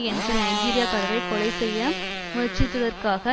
என்ற நைஜிரியாக்காரரை கொலை செய்ய முயற்சித்ததற்காக